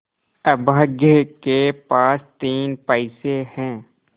अभागे के पास तीन पैसे है